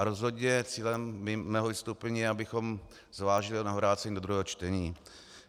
A rozhodně cílem mého vystoupení je, abychom zvážili jeho navrácení do druhého čtení.